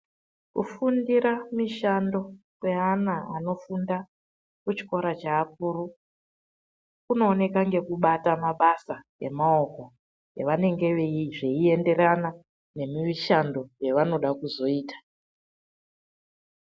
Kufundira mishando kweana anofunda kuchikoro cheakuru, kunooneka ngekubata mabasa emaoko evanenge vechiita zveienderana nemishando yevanooda kuzoita.